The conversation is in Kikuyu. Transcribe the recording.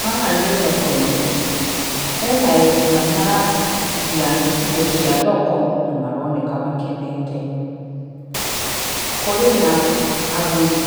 Haha nĩ thoko-inĩ, he na endia marendia indo cia thoko na maroneka makenete. Kũrĩ na agũri